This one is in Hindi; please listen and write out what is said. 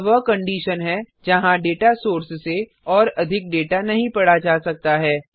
यह वह कंडिशन है जहाँ डेटा सोर्स से और अधिक डेटा नही पढ़ा जा सकता है